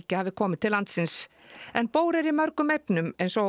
hafi komið til landsins bór er í mörgum efnum eins og